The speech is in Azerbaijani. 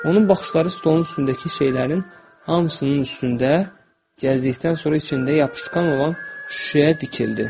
Onun baxışları stolun üstündəki şeylərin hamısının üstündə gəzdikdən sonra içində yapışqan olan şüşəyə dikildi.